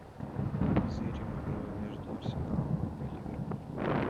позырим игру между арсеналом и ливерпулем